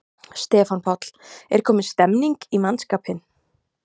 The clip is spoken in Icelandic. Stefán Páll: Er komin stemning í mannskapinn?